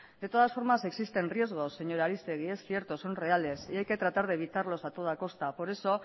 de todas formas existen riesgos señora aristegi es cierto son reales y hay que tratar de evitarlos a toda costa por eso